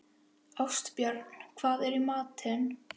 Ástbjörn, hvað er í matinn?